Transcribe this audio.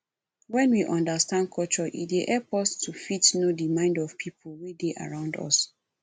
when we understand culture e dey help us to fit know di mind of pipo wey dey around us